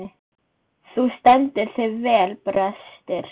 Þú stendur þig vel, Brestir!